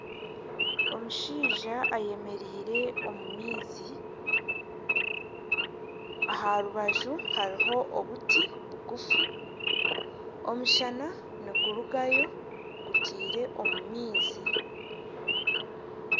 Omushaija ayemereire omu maizi aha rubaju hariho obuti bugufu, omushana nigurugayo gutaire omu maizi